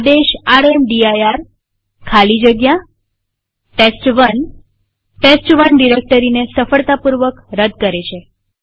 આદેશ રામદીર ખાલી જગ્યા ટેસ્ટ1 ટેસ્ટ1 ડિરેક્ટરીને સફળતાપૂર્વક રદ કરે છે